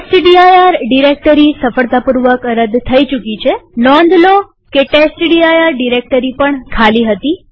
test dir directory સફળતાપૂર્વક રદ થઇ ચુકી છેનોંધ રાખો કે ટેસ્ટડિર ડિરેક્ટરી પણ ખાલી હતી